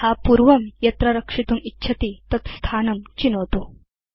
यथा पूर्वं यत्र रक्षितुम् इच्छति तत् स्थानं चिनोतु